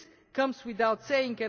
This goes without saying.